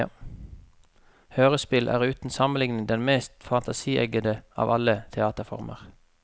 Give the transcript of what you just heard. Hørespill er uten sammenligning den mest fantasieggende av alle teaterformer.